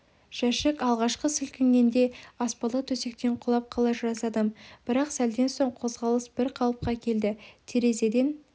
жәшік алғашқы сілкінгенде аспалы төсектен құлап қала жаздадым бірақ сәлден соң қозғалыс бір қалыпқа келді терезеден